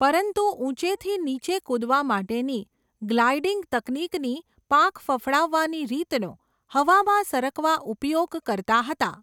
પરંતુ ઉંચેથી નીચે કૂદવા માટેની, ગ્લાઈડીંગ તકનીકની પાંખ ફફડાવાની રીતનો, હવામાં સરકવા ઉપયોગ કરતા હતા.